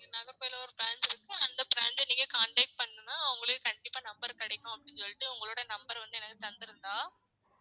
இங்க நாகர்கோவில்ல ஒரு branch இருக்கு அந்த branch அ நீங்க contact பண்ணுனா உங்களுக்கு கண்டிப்பா number கிடைக்கும் அப்டின்னு சொல்லிட்டு உங்களோட number அ வந்து எனக்கு தந்திருந்தா